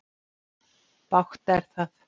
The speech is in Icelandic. Bágt er það.